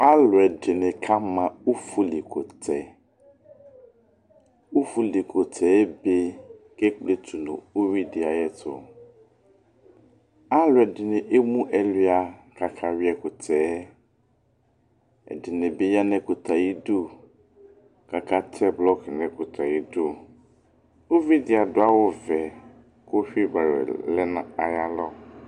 alʊɛdɩnɩ kama ʊfuli kʊtɛ ʊfʊlɩ kʊtɛ ebe kekpletunu uwuidɩ ayɛtʊ alʊɛdinɩ emu ɛlʊa kakayu'ɛkʊtɛɛ ɛdɩnibɩ ya n'ɛkutɛɛbayidu kakatɛ blɔk n 'ayɩdu ʊvidɩ'adu 'awuvɛ kʊ ƒiba wuɛ lɛ n'ayalɔ